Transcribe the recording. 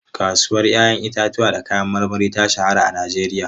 Kasuwar 'ya'yan itatuwa da kayan marmari ta shahara a Najeriya.